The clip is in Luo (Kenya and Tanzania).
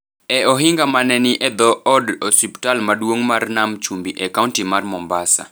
e ohinga ma ne ni e dho Od Osiptal Maduong’ mar Nam Chumbi e kaonti mar Mombasa.